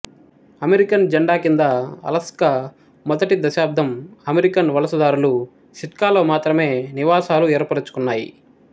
America జండా కింద Alaska మొదటి శతాబ్దం అమెరికన్ వలసదారులు సిట్కాలో మాత్రమే నివాసాలు ఏర్పరచుకున్నాయి